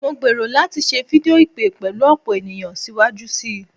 Mo gbero lati se fidio ipe pelu opo eniyan siwaju sii